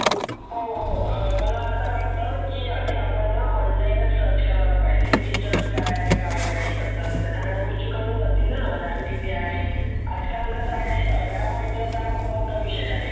हो हो मला असं वाटतं की, आधी आपण online search करायला पाहिजे. feature काय आहे काय नाही. कस त्या सगळ्या गोष्टीं कमी नवतील न ram किती आहे. आजकाल कस आहे. ram म्हटलं का खूप मोठा विषय आहे.